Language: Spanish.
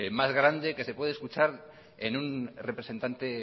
más grande que se puede escuchar en un representante